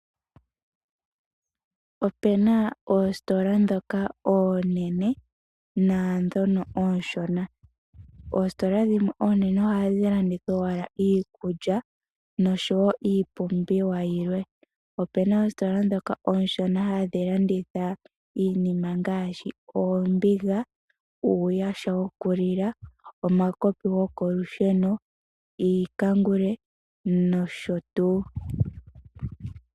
Opena oositola ndhoka oonene nadhono oonshona. Oositola dhimwe oonene ohadhi landitha owala iikulya noshowo iipumbiwa yilwe. Opena oositola ndhoka ooshona hadhi landitha iinima ngaashi oombiga ,iikulya iiyaha yokulila omakopi goko lusheno, iikangule nosho tuu